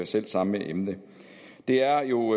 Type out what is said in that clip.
selv samme emne det er jo